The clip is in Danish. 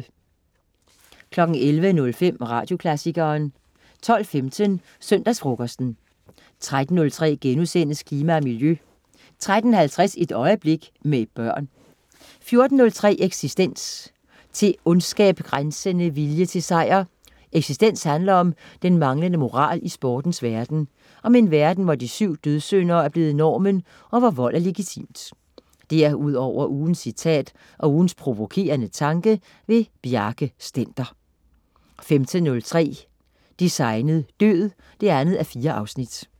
11.05 Radioklassikeren 12.15 Søndagsfrokosten 13.03 Klima og Miljø* 13.50 Et øjeblik. Med børn 14.03 Eksistens. Til ondskab grænsende vilje til sejr. Eksistens handler om den manglende moral i sportens verden. Om en verden hvor de syv dødssynder er blevet normen, og hvor vold er legitimt. Derudover ugens citat, og ugens provokerende tanke. Bjarke Stender 15.03 Designet død 2:4